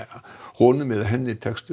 honum eða henni tekst